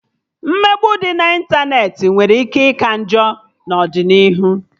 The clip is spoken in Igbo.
Mmegbu dị na ịntanetị nwere ike ika njọ n'ọdịnihu